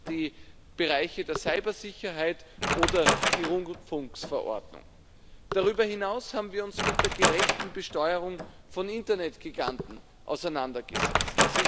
die Bereiche der Cybersicherheit oder die Rundfunkverordnung. Darüber hinaus haben wir uns mit der gerechten Besteuerung von Internetgiganten auseinandergesetzt.